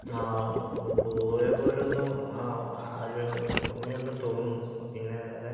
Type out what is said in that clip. ആഹ് പോയ പോലെ ഒന്ന് ആഹ് ഒരു ഓർമയുണ്ടെന്ന് തോനുന്നു പിന്നെ വേറെ